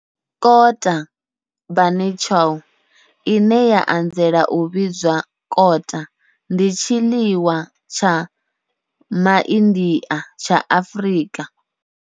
Kota, bunny chow, ine ya anzela u vhidzwa kota, ndi tshiḽiwa tsha MaIndia tsha Afrika.